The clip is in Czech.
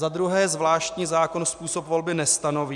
Za druhé: Zvláštní zákon způsob volby nestanoví.